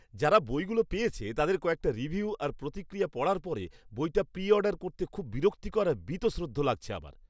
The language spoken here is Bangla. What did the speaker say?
যারা বইগুলো পেয়েছে তাদের কয়েকটা রিভিউ আর প্রতিক্রিয়া পড়ার পরে বইটা প্রিঅর্ডার করতে খুব বিরক্তিকর আর বীতশ্রদ্ধ লাগছে আমার।